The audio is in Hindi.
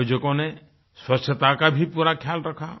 आयोजकों ने स्वच्छता का भी पूरा ख्याल रखा